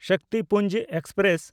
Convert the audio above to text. Shaktipunj express